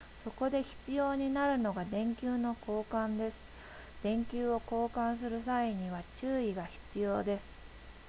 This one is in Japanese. そこで必要になるのが電球の交換です電球を交換する際には注意が必要です